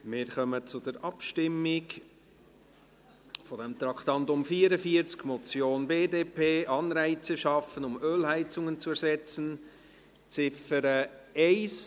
Wir kommen zur Abstimmung zum Traktandum 44, Motion BDP: «Anreize schaffen, um Ölheizungen zu ersetzen», Ziffer 1.